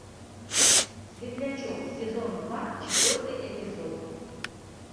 светлячок сезон два четвертый эпизод